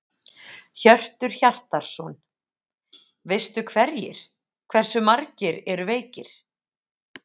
Hjörtur Hjartarson: Veistu hverjir, hversu margir eru veikir?